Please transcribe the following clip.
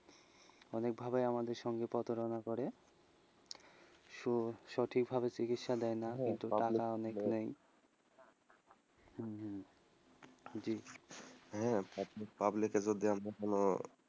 অনেকভাবে আমাদের সঙ্গে প্রতারণা করে সঠিকভাবে চিকিৎসা দেয়না টাকা মেরে নেয় হম জি public এ আমাদের জন্য,